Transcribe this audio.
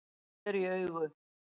Sker í augu